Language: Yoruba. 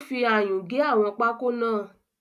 Ó ń fi ayùn gé àwọn pákó náà